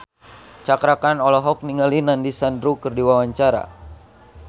Cakra Khan olohok ningali Nandish Sandhu keur diwawancara